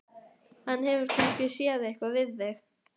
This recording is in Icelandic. Hann hefur kannski séð eitthvað við þig!